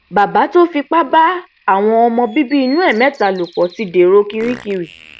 bàbá tó fipá bá àwọn ọmọ bíbí inú ẹ mẹta lò pọ ti dèrò kirikiri